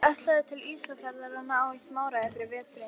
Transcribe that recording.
Ég ætlaði til Ísafjarðar að ná í smáræði fyrir veturinn.